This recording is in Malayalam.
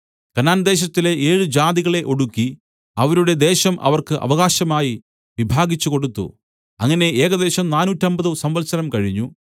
കനാൻദേശത്തിലെ ഏഴ് ജാതികളെ ഒടുക്കി അവരുടെ ദേശം അവർക്ക് അവകാശമായി വിഭാഗിച്ചു കൊടുത്തു അങ്ങനെ ഏകദേശം നാനൂറ്റമ്പത് സംവത്സരം കഴിഞ്ഞു